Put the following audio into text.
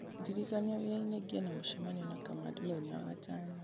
ndirikania wĩra-inĩ ngĩe na mũcemanio na kamande mũthenya wa gatano